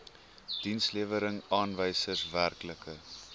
dienslewerings aanwysers werklike